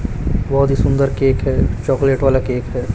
बोहोत ही सुंदर केक है चॉकलेट वाला केक है।